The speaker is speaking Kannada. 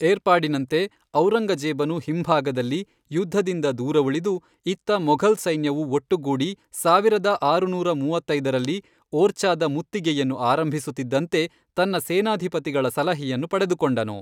ಏರ್ಪಾಡಿನಂತೆ, ಔರಂಗಜೇಬನು ಹಿಂಭಾಗದಲ್ಲಿ, ಯುದ್ಧದಿಂದ ದೂರವುಳಿದು, ಇತ್ತ ಮೊಘಲ್ ಸೈನ್ಯವು ಒಟ್ಟುಗೂಡಿ ಸಾವಿರದ ಆರುನೂರ ಮೂವತ್ತೈದರಲ್ಲಿ, ಓರ್ಚಾದ ಮುತ್ತಿಗೆಯನ್ನು ಆರಂಭಿಸುತ್ತಿದ್ದಂತೆ, ತನ್ನ ಸೇನಾಧಿಪತಿಗಳ ಸಲಹೆಯನ್ನು ಪಡೆದುಕೊಂಡನು.